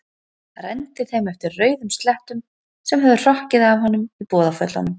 Renndi þeim eftir rauðum slettum sem höfðu hrokkið af honum í boðaföllunum.